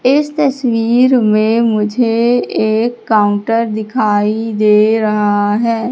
इस तस्वीर में मुझे एक काउंटर दिखाई दे रहा है।